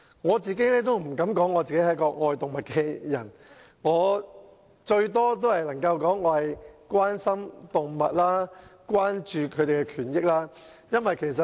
我不敢說我是愛動物的人，我最多只能說我關心動物和關注牠們的權益。